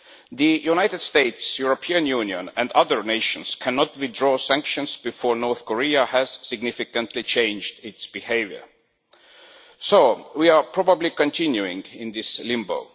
The United States, the European Union and other nations cannot withdraw sanctions before North Korea has significantly changed its behaviour, so we are probably going to continue in this limbo.